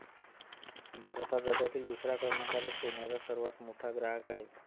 भारत हा जगातील दुसऱ्या क्रमांकाचा सोन्याचा सर्वात मोठा ग्राहक आहे.